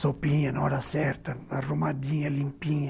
Sopinha na hora certa, arrumadinha, limpinha.